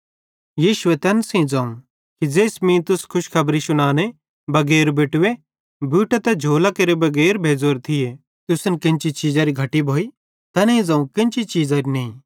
यीशुए तैन सेइं ज़ोवं कि ज़ेइस मीं तुस खुशखबरी शुनाने बगैर बेटवे बूटां ते झोलेरे बगैर भेज़ोरे थिये त तुस केन्ची चीज़ारे घटी भोइ तैनेईं ज़ोवं केन्ची चीज़री नईं